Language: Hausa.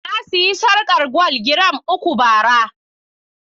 Na sayi sarƙar gwal giram uku bara.